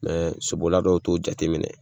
Mɛ sobolila dɔw t'o jateminɛ.